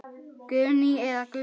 Guðni eða Guðný.